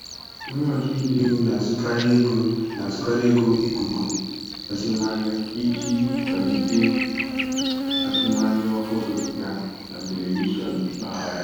Onye ọchụnta ego na-azụkarị ego na-azụkarị oge ikuku azụmahịa iji kwalite azụmahịa ọhụrụ ya na telivishọn mpaghara